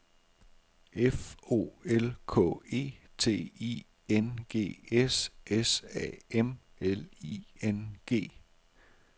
F O L K E T I N G S S A M L I N G